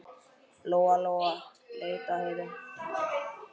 Lóa-Lóa leit á Heiðu.